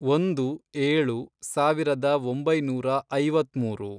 ಒಂದು, ಏಳು, ಸಾವಿರದ ಒಂಬೈನೂರ ಐವತ್ಮೂರು